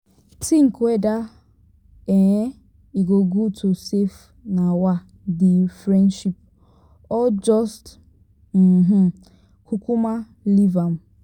tink weda um e go gud to safe um di friendship or jus kukuma leave am